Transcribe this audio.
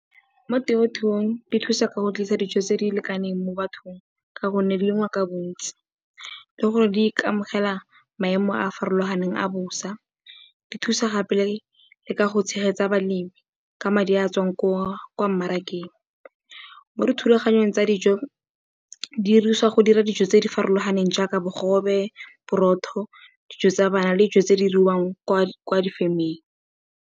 Mo temothuong di thusa ka go tlisa dijo tse di lekaneng mo bathong ka gonne di lengwa ka bontsi, le gore di itemogela maemo a a farologaneng a bosa. Di thusa gape le ka go tshegetsa balemi ka madi a a tswang kwa mmarakeng. Mo dithulaganyong tsa dijo di dirisiwa go dira dijo tse di farologaneng jaaka bogobe, borotho, dijo tsa bana le dijo tse di diriwang kwa difemeng.